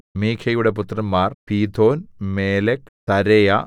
മീഖയുടെ പുത്രന്മാർ Pithon Melech Tarea Ahaz